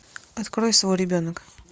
открой свой ребенок